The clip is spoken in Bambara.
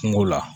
Kungo la